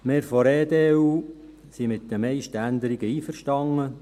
Wir von der EDU sind mit den meisten Änderungen einverstanden.